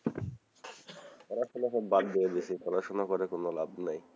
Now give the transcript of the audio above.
পড়াশোনা তো বাদ দিয়ে দিসি পড়াশোনা করে কোনো লাভ নাই,